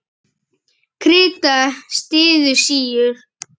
Krita styður síur.